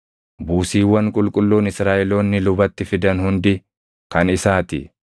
Buusiiwwan qulqulluun Israaʼeloonni lubatti fidan hundi kan isaa ti.